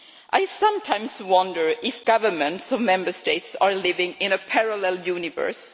I sometimes wonder if governments of Member States are living in a parallel universe.